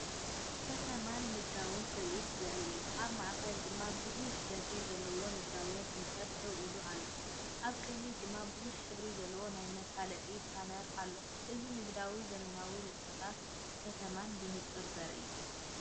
ከተማን ንግዳዊ ትርኢትን ዘርኢ እዩ። ኣብ ማእከል ድማ ብዙሕ ደርቢ ዘለዎ ንግዳዊ ህንጻ ደው ኢሉ ኣሎ፣ ኣብ ቅድሚኡ ድማ ብዙሕ ሕብሪ ዘለዎ ናይ መፈለጢ ፓነር ኣሎ። እዚ ንንግዲ፡ ዘመናዊነትን ንጥፈታት ከተማን ብንጹር ዘርኢ እዩ።